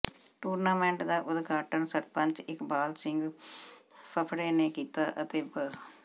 tournament ਦਾ ਉਦਘਾਟਨ ਸਰਪੰਚ ਇਕਬਾਲ ਸਿੰਘ ਫਫੜੇ ਨੇ ਕੀਤਾ ਅਤੇ ਬ